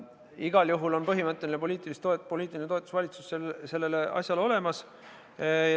Igal juhul on põhimõtteline poliitiline toetus valitsuses sellele asjale olemas.